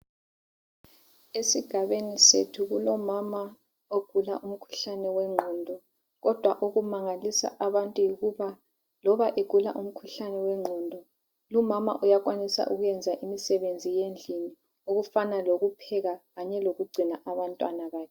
Esigabeni sethu kulomama ogula umkhuhlane wengqondo. Kodwa okumangalisa abantu yikuba loba egula umkhuhlane wengqondo, lumama uyakwanisa ukwenza imisebenzi yendlini okufana lokupheka kanye lokugcina abantwana bakhe.